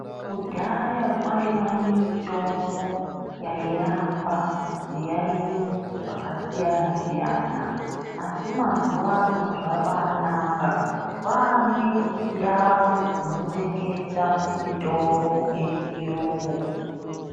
Kudhaya kwaiwa nemitombo yairapa zviyaiyo zvakasiyana siyana asi mazuwa ano zvabanaka kwane ndau dzinotengese mitombo yechiyungu.